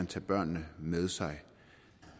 tage børnene med sig